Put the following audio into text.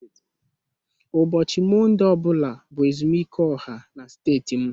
Ụbọchị Mọnde ọ bụla bụ ezumike ọha na steeti m